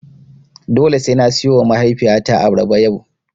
Dole sai na siyowa mahaifiyata abarba yau.